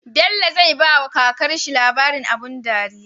Bello zai bawa kakar shi labarin abun dariya